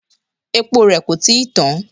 Epo rẹ kò tí ì tán.